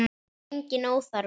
Það er enginn óþarfi.